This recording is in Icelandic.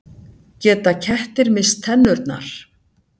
Geta kettir misst tennurnar?